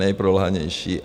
Nejprolhanější.